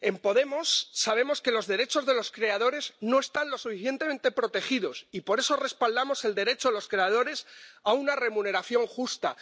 En Podemos sabemos que los derechos de los creadores no están lo suficientemente protegidos, y por eso respaldamos el derecho de los creadores a una remuneración justa.